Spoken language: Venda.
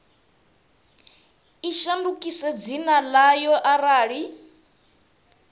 i shandukise dzina ḽayo arali